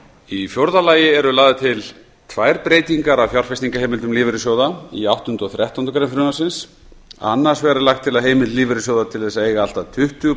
í fjórða lagi eru lagðar til tvær breytingar að fjárfestingarheimildum lífeyrissjóða í áttundu og þrettándu grein frumvarpsins annars vegar er lagt til að heimildir lífeyrissjóða til að eiga allt að tuttugu